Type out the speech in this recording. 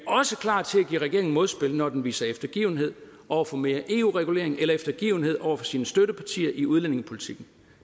også klar til at give regeringen modspil når den viser eftergivenhed over for mere eu regulering eller eftergivenhed over for sine støttepartier i udlændingepolitikken